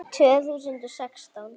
Tvö þúsund og sextán